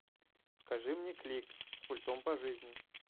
покажи мне клик с пультом по жизни